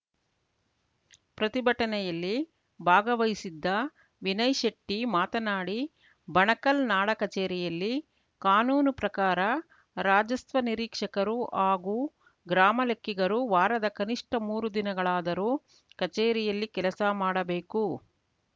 ಪ್ರತಿಭಟನೆಯಲ್ಲಿ ಭಾಗವಹಿಸಿದ್ದ ವಿನಯ್‌ ಶೆಟ್ಟಿಮಾತನಾಡಿ ಬಣಕಲ್‌ ನಾಡ ಕಚೇರಿಯಲ್ಲಿ ಕಾನೂನು ಪ್ರಕಾರ ರಾಜಸ್ವ ನಿರೀಕ್ಷಕರು ಹಾಗೂ ಗ್ರಾಮ ಲೆಕ್ಕಿಗರು ವಾರದ ಕನಿಷ್ಠ ಮೂರು ದಿನಗಳಾದರೂ ಕಚೇರಿಯಲ್ಲಿ ಕೆಲಸ ಮಾಡಬೇಕು